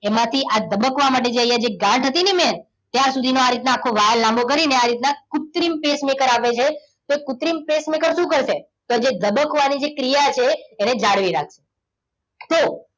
એમાંથી આ ધબકવા માટે આજે અહીંયા ગાંઠ હતી ને ત્યાં સુધીનો આ રીતના આખો વાલ લાંબો કરીને આ રીતના કુત્રિમ pacemaker આવે છે. તો કુત્રિમ pacemaker શું કરશે? તો ધબકવાની જે ક્રિયા છે એને જાળવી રાખશે. તો